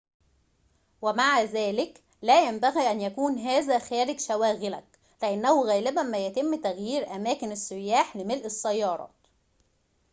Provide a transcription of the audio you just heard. ومع ذلك لا ينبغي أن يكون هذا خارج شواغلك لأنه غالباً ما يتم تغيير أماكن السياح لملء السيارات